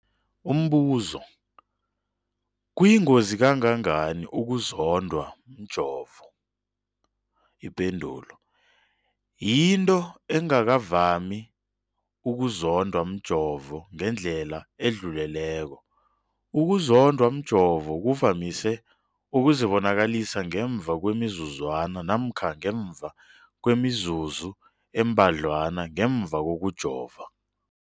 Umbuzo, kuyingozi kangangani ukuzondwa mjovo? Ipendulo, yinto engakavami ukuzondwa mjovo ngendlela edluleleko. Ukuzondwa mjovo kuvamise ukuzibonakalisa ngemva kwemizuzwana namkha ngemva kwemizuzu embadlwana ngemva kokujova.